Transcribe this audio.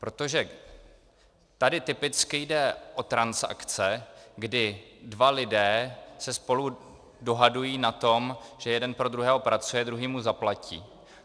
Protože tady typicky jde o transakce, kdy dva lidé se spolu dohadují na tom, že jeden pro druhého pracuje, druhý mu zaplatí.